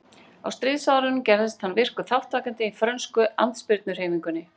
Á stríðsárunum gerðist hann virkur þátttakandi í frönsku andspyrnuhreyfingunni.